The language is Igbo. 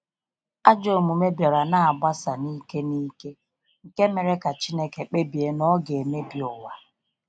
Ajọ omume bịara n'agbassa n'ike n'ike, nke mere ka Chineke kpebie na ọga emebi ụwa.